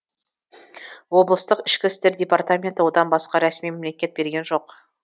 облыстық ішкі істер департаменті одан басқа ресми мәлімет берген жоқ